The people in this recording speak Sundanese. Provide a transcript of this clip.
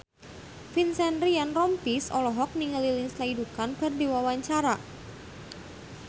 Vincent Ryan Rompies olohok ningali Lindsay Ducan keur diwawancara